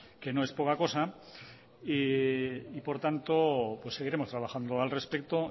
que no es poca cosa y por tanto seguiremos trabajando al respecto